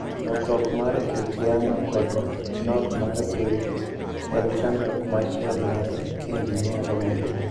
Lokruok mar kit yamo kod nok mar pi en chandruok machielo ma injinia romogo.